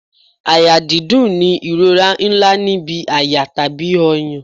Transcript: Àyà dídùn ni ìrora ńlá níbi àyà tàbí ọyàn.